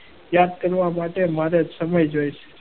યાદ કરવા માટે મારે સમય જોઈશે.